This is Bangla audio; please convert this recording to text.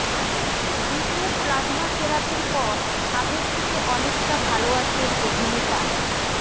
দ্বিতীয় প্লাজমা থেরাপির পর আগের থেকে অনেকটা ভাল আছেন অভিনেতা